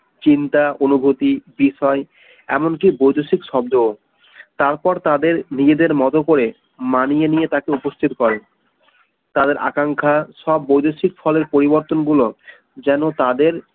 চিন্তা অনুভূতি বিষয় এমনকি বৈদেশিক শব্দ ও তারপর তাদের নিজেদের মত করে মানিয়ে নিয়ে তাকে উপস্থিত হয় তাদের আকাঙ্ক্ষা সব বৈদেশিক ফলের পরিবর্তন গুলো যেনো তাদের